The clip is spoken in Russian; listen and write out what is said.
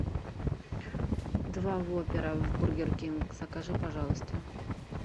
два воппера в бургер кинг закажи пожалуйста